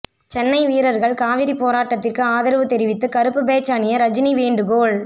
சென்னை வீரர்கள் காவிரி போராட்டத்திற்கு ஆதரவு தெரிவித்து கருப்பு பேட்ஜ் அணிய ரஜினி வேண்டுகோள்